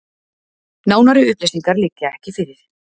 Nánari upplýsingar liggja ekki fyrir